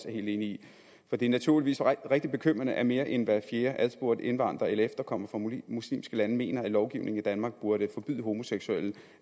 helt enig i for det er naturligvis rigtig bekymrende at mere end hver fjerde adspurgte indvandrer eller efterkommer fra muslimske lande mener at lovgivningen i danmark burde forbyde homoseksuelle